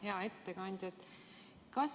Hea ettekandja!